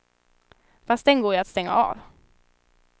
Fast den går ju att stänga av.